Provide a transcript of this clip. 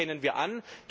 Das erkennen wir an.